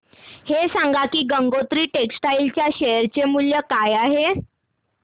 हे सांगा की गंगोत्री टेक्स्टाइल च्या शेअर चे मूल्य काय आहे